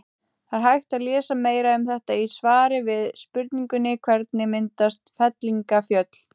Það er hægt að lesa meira um þetta í svari við spurningunni Hvernig myndast fellingafjöll?